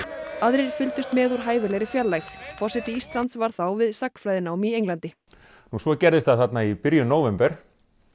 aðrir fylgdust með úr hæfilegri fjarlægð forseti Íslands var þá við sagnfræðinám í Englandi svo gerðist það þarna í byrjun nóvember